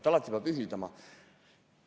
Alati peab ühilduma.